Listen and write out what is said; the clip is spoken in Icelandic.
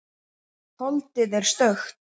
Holdið er stökkt.